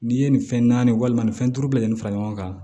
N'i ye nin fɛn naani walima nin fɛn duuru bɛɛ lajɛlen fara ɲɔgɔn kan